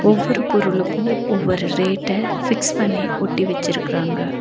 ஒவ்வொரு பொருளுக்கு ஒவ்வொரு ரேட்ட ஃபிக்ஸ் பண்ணி ஒட்டி வெச்சிருக்கறாங்க.